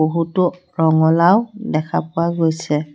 বহুতো ৰঙলাও দেখা পোৱা গৈছে।